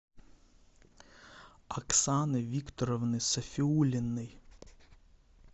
оксаны викторовны сафиуллиной